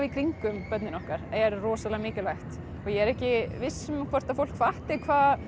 í kringum börnin okkar er rosalega mikilvægt ég er ekki viss um hvort fólk fatti hvað